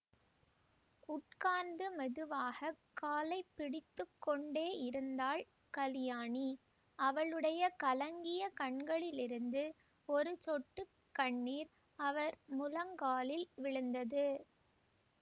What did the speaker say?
உட்கார்ந்து மெதுவாக காலை பிடித்து கொண்டேயிருந்தாள் கலியாணி அவளுடைய கலங்கிய கண்களிலிருந்து ஒரு சொட்டு கண்ணீர் அவர் முழங்காலில் விழுந்தது